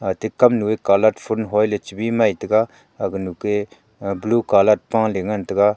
ate kamnu colourdfun hoiley chibi mai taiga aganu k i blue colourd pale ngan taiga.